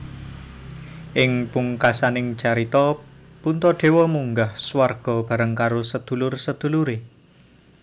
Ing pungkasaning carita Puntadewa munggah swarga bareng karo sedulur sedulure